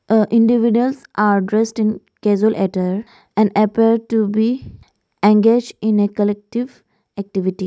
The individual are dressed in casual attire and appear to be engaged in a collective activity.